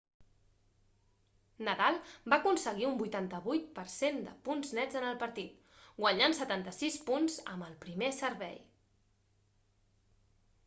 nadal va aconseguir un 88% de punts nets en el partit guanyant 76 punts amb el primer servei